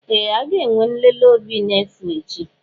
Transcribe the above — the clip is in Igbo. Ee! A ga-enwe nlele obi n'efu echi.